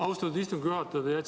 Austatud istungi juhataja!